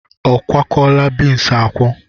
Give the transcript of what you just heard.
A kwokwala beans akwo?